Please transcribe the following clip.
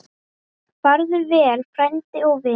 Farðu vel, frændi og vinur.